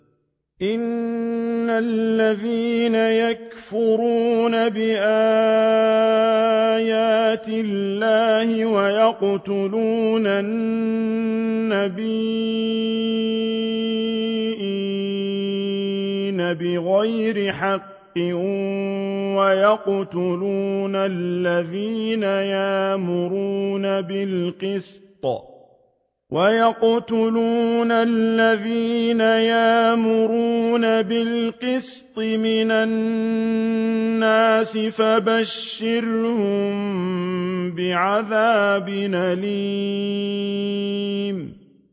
إِنَّ الَّذِينَ يَكْفُرُونَ بِآيَاتِ اللَّهِ وَيَقْتُلُونَ النَّبِيِّينَ بِغَيْرِ حَقٍّ وَيَقْتُلُونَ الَّذِينَ يَأْمُرُونَ بِالْقِسْطِ مِنَ النَّاسِ فَبَشِّرْهُم بِعَذَابٍ أَلِيمٍ